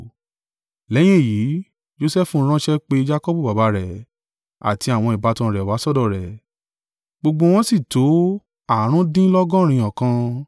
Lẹ́yìn èyí, Josẹfu ránṣẹ́ pe Jakọbu baba rẹ̀, àti àwọn ìbátan rẹ̀ wá sọ́dọ̀ rẹ, gbogbo wọ́n sì tó àrùndínlọ́gọ́rin ọkàn.